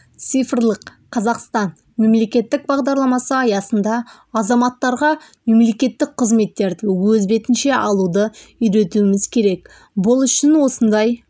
цифрлық қазақстан мемлекеттік бағдарламасы аясында азаматтарға мемлекеттік қызметтерді өз бетінше алуды үйретуіміз керек бұл үшін осындай